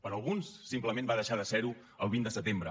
per a alguns simplement va deixar de ser ho el vint de setembre